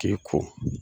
K'i ko